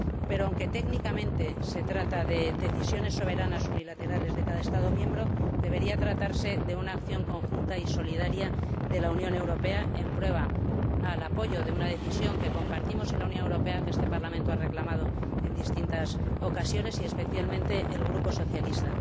Pero, aunque técnicamente se trata de decisiones soberanas unilaterales de cada Estado miembro, debería tratarse de una acción conjunta y solidaria de la Unión Europea en prueba del apoyo a una decisión que compartimos en la Unión Europea y que este Parlamento ha reclamado en distintas ocasiones, especialmente el Grupo Socialista.